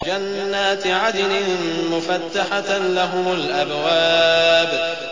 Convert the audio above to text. جَنَّاتِ عَدْنٍ مُّفَتَّحَةً لَّهُمُ الْأَبْوَابُ